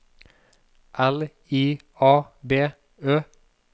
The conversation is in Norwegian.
L I A B Ø